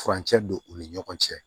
Furancɛ don u ni ɲɔgɔn cɛ